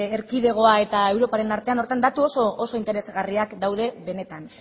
erkidegoa eta europaren artean datu oso interesgarriak daude benetan